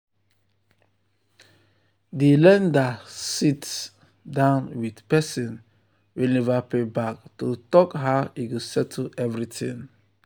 um di lender sit um down with person wey never pay back to talk um how e go settle everything.